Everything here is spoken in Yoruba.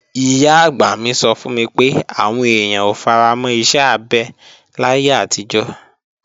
Ìyá-àgbà mi sọ fún mi pé, àwọn èèyàn ò faramọ́ iṣẹ́ abẹ láyé àtijọ́